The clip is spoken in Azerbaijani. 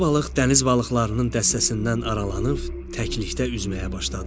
Balaca balıq dəniz balıqlarının dəstəsindən aralanıb təkliyə üzməyə başladı.